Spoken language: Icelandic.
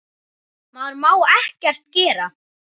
Maður má ekkert gera.